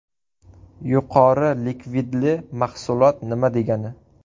Yuqori likvidli mahsulot nima degani?